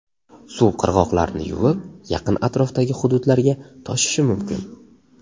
Suv qirg‘oqlarni yuvib, yaqin atrofdagi hududlarga toshishi mumkin.